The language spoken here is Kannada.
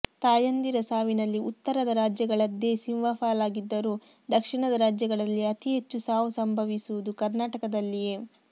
ತಾಯಂದಿರ ಸಾವಿನಲ್ಲಿ ಉತ್ತರದ ರಾಜ್ಯಗಳದ್ದೇ ಸಿಂಹಪಾಲಾಗಿದ್ದರೂ ದಕ್ಷಿಣದ ರಾಜ್ಯಗಳಲ್ಲಿ ಅತಿ ಹೆಚ್ಚು ಸಾವು ಸಂಭವಿಸುವುದು ಕರ್ನಾಟಕದಲ್ಲಿಯೆ